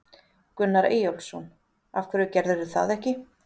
Gunnar Eyjólfsson: Af hverju gerirðu það ekki?